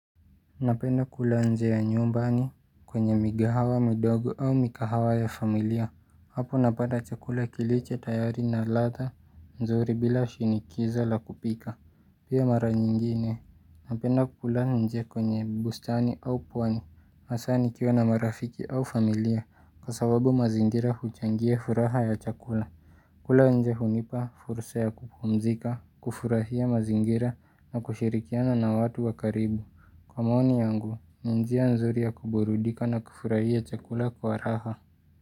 Napenda kula nje ya nyumbani kwenye mikahawa midogo au mikahawa ya familia hapo napata chakula kilicho tayari na ladha nzuri bila shinikizo la kupika pia mara nyingine Napenda kula nje kwenye bustani au pwani hasaa nikiwa na marafiki au familia kwasababu mazingira kuchangie furaha ya chakula kula nje hunipa, fursa ya kupumzika, kufurahia mazingira na kushirikiana na watu wakaribu. Kwa maoni yangu, ni njia nzuri ya kuburudika na kufurahia chakula kwa raha.